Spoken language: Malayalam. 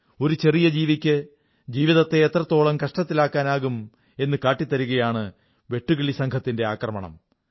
ഒരു ചെറിയ ജീവിക്ക് ജീവിതത്തെ എത്രത്തോളം കഷ്ടത്തിലാക്കാനാകും എന്നു കാട്ടിത്തരുകയാണ് വെട്ടുകിളിസംഘത്തിന്റെ ആക്രമണം